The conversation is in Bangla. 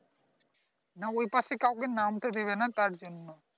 না ওই পাশে কাউকে নামতে দেবে না তার জন্যে